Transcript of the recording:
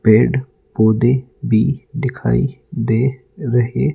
पेड़ पौधे भी दिखाई दे रहे--